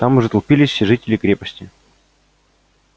там уже толпились все жители крепости